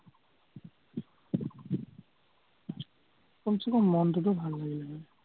কমচে-কম মনটোতো ভাল লাগিলে হয়।